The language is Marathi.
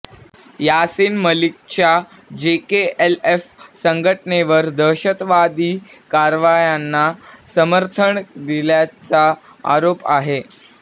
यासिन मलिकच्या जेकेएलएफ संघटनेवर दहशतवादी कारवायांना समर्थन दिल्याचा आरोप आहे